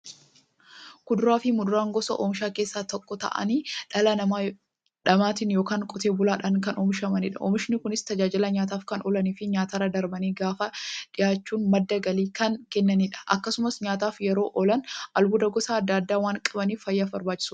Kuduraafi muduraan gosa oomishaa keessaa tokko ta'anii, dhala namaatin yookiin Qotee bulaadhan kan oomishamaniidha. Oomishni Kunis, tajaajila nyaataf kan oolaniifi nyaatarra darbanii gabaaf dhiyaachuun madda galii kan kennaniidha. Akkasumas nyaataf yeroo oolan, albuuda gosa adda addaa waan qabaniif, fayyaaf barbaachisoodha.